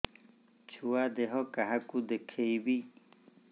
ଛୁଆ ଦେହ କାହାକୁ ଦେଖେଇବି